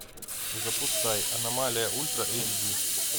запускай аномалия ультра эйч ди